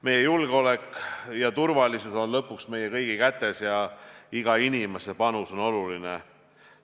Meie julgeolek ja turvalisus on lõpuks meie kõigi kätes ja iga inimese panus on oluline.